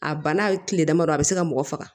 A bana kile damadɔ a bɛ se ka mɔgɔ faga